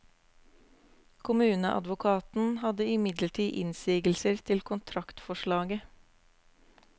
Kommuneadvokaten hadde imidlertid innsigelser til kontraktsforslaget.